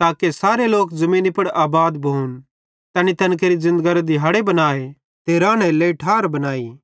ताके सारे ज़मीनी पुड़ आबाद भोन तैनी तैन केरि ज़िन्दगरे दिहाड़े बनाए ते रानेरे लेइ ठार बनाई